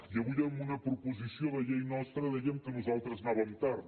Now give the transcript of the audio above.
i avui en una proposició de llei nostra deien que nos·altres anàvem tard